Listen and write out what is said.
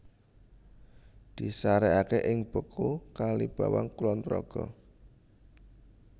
Disarekaké ing Beku Kalibawang Kulonprogo